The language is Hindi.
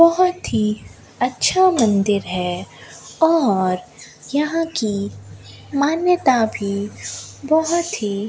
बहोत ही अच्छा मंदिर है और यहां की मान्यता भी बहोत ही --